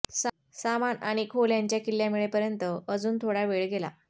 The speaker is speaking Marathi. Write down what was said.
सामान आणि खोल्यांच्या किल्ल्या मिळेपर्यंत अजून थोडा वेळ गेला